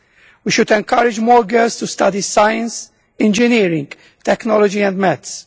We should encourage more girls to study science, engineering, technology and maths.